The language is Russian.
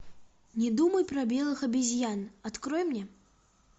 не думай про белых обезьян открой мне